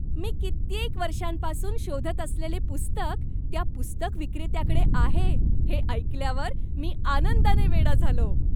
मी कित्येक वर्षांपासून शोधत असलेले पुस्तक त्या पुस्तक विक्रेत्याकडे आहे हे ऐकल्यावर मी आनंदाने वेडा झालो.